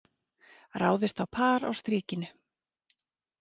Ráðist á par á Strikinu